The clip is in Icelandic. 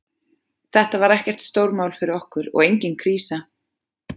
Þetta var ekkert stórmál fyrir okkur og engin krísa.